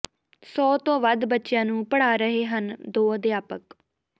ਸੌ ਤੋਂ ਵੱਧ ਬੱਚਿਆਂ ਨੂੰ ਪੜ੍ਹਾ ਰਹੇ ਹਨ ਦੋ ਅਧਿਆਪਕ